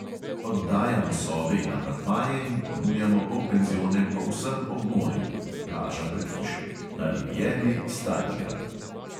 Oddajamo sobe in apartmaje in ponujamo polpenzione povsem ob morju (plaža pred hišo), na rivieri starigrad.